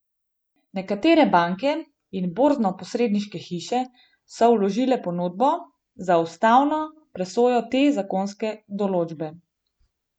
Nekatere banke in borznoposredniške hiše so vložile pobudo za ustavno presojo te zakonske določbe.